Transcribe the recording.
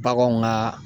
Baganw ka